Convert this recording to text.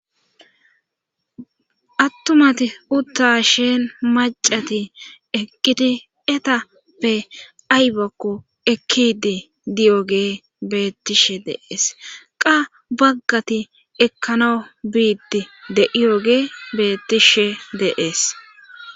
Attumati utta sheen macati eqqiti etappe aybakko ekkidi diyoge beettishe deees qa baggati ekkana biiddi de7iyoge beettishe dees.